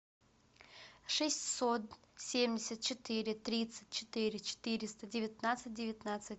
шестьсот семьдесят четыре тридцать четыре четыреста девятнадцать девятнадцать